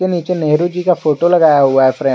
नीचे नेहरू जी का फोटो लगाया हुआ है फ्रेम --